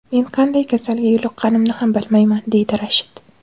Men qanday kasalga yo‘liqqanimni ham bilmayman”, – deydi Rashid.